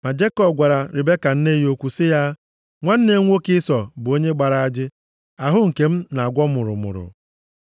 Ma Jekọb gwara Ribeka nne ya okwu sị ya, “Nwanne m nwoke Ịsọ bụ onye gbara ajị. Ahụ nke m na-akwọ mụrụmụrụ.